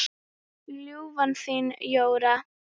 Ljúfan þín, Jóra.